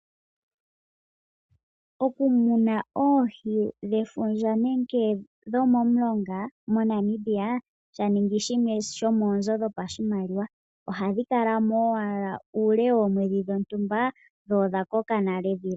Okumuna oohi dhefundja nenge dhomomilonga moNamibia, sha ningi shimwe shomoonzo dhoshimaliwa. Ohadhi kala mo owala uule woomwedhi dhontumba, dho odhakoka nale.